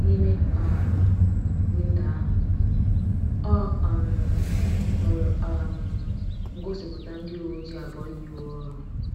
N’ime um windo ahụ, ọ um hụrụ um ngosipụta ndị uwe ojii abụọ yi uwe ọrụ.